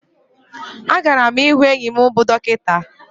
A gara mu ịhụ enyi m bụ dọkịta